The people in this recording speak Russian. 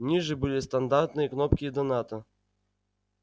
ниже были стандартные кнопки доната